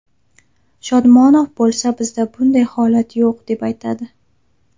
Shodmonov bo‘lsa bizda bunday holat yo‘q, deb aytadi.